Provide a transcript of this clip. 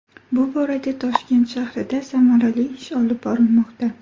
Bu borada Toshkent shahrida samarali ish olib borilmoqda.